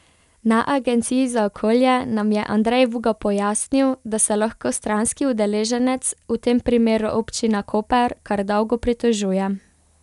Na Agenciji za okolje nam je Andrej Vuga pojasnil, da se lahko stranski udeleženec, v tem primeru Občina Koper, kar dolgo pritožuje.